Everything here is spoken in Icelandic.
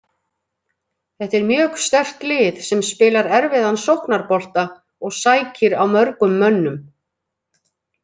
Þetta er mjög sterkt lið sem spilar erfiðan sóknarbolta og sækir á mörgum mönnum.